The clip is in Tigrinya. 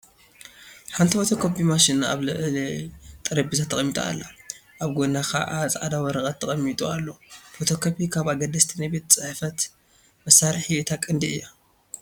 ሓንቲ ፎቶ ኮሚ ማሽን ኣብ ልዕሊ ጠረጴዛ ተቐሚጣ ኣላ፡፡ ኣብ ጐና ከዓ ፃዕዳ ወረቐት ተቐሚጡ ኣሎ፡፡ ፎቶ ኮፒ ካብ ኣገደስቲ ናይ ቤት ፅሕፈት መሳርሒ እታ ቀንዲ እያ፡፡